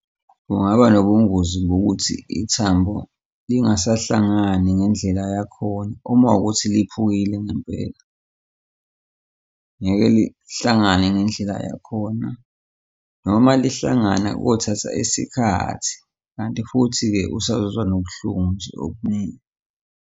Kungaba nobungozi bokuthi ithambo lingasahlangani ngendlela yakhona, uma kuwukuthi liphukile ngempela ngeke lihlangane ngendlela yakhona noma lihlangana kuyothatha isikhathi kanti futhi-ke usazozwa nobuhlungu nje okuningi.